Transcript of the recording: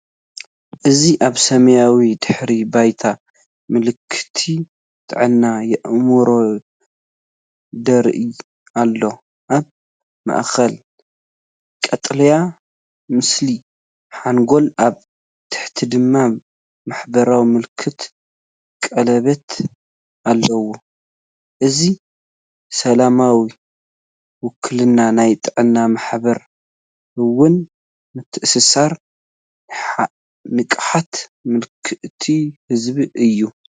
እዚ ኣብ ሰማያዊ ድሕረ ባይታ መልእኽቲ ጥዕና ኣእምሮ ይረአ ኣሎ። ኣብ ማእከል ቀጠልያ ምስሊ ሓንጎል፡ ኣብ ታሕቲ ድማ ማሕበራዊ ምልክት ቀለቤት ኣለው። እዚ ስእላዊ ውክልና ናይ ጥዕናን ማሕበራውን ምትእስሳር ንቕሓት መልእኽቲ ዝህብ እዩ።